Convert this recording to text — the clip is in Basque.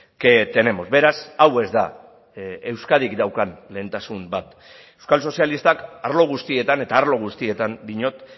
que tenemos beraz hau ez da euskadik daukan lehentasun bat euskal sozialistak arlo guztietan eta arlo guztietan diot